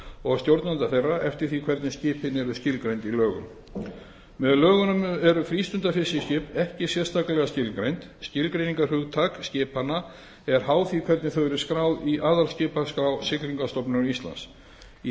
og stjórnenda þeirra eftir því hvernig skipin eru skilgreind í lögum með lögunum eru frístundafiskiskip ekki sérstaklega skilgreind skilgreiningarhugtak skipanna er háð því hvernig þau eru skráð í aðalskipaskrá siglingastofnunar íslands í